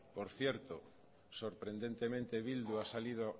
por cierto sorprendentemente bildu ha salido